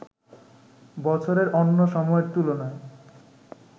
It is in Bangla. বছরের অন্য সময়ের তুলনায়